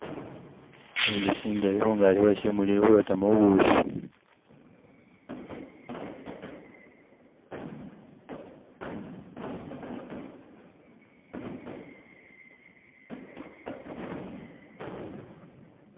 Inzushi ngeli khungasi khweshimuli ilikhuyotamo bubushi